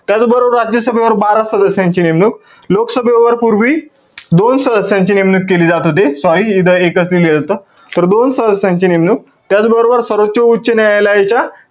त्याचबरोबर राज्यसभेवर बारा सदस्यांची नेमणुक, लोकसभेवर पूर्वी दोन सदस्यांची नेमणूक केली जात होती. Sorry इथं एकच लिहिलेलं होतं. तर दोन सदस्यांची नेमणूक. त्याचबरोबर सर्वोच्च, उच्च न्यायालयाच्या,